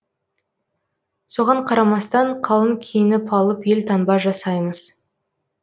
соған қарамастан қалың киініп алып елтаңба жасаймыз